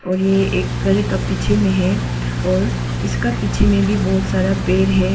और ये एक घर के पीछे में है और इसका पीछे में भी बहुत सारा पेड़ है।